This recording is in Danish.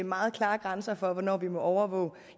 meget klare grænser for hvornår vi må overvåge